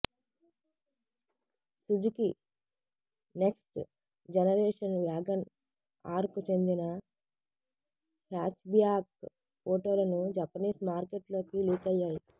Suzuki next generation wagon R కు చెందిన hatchback ఫోటోలను జపనీస్ మార్కెట్లోకి లీకయ్యాయి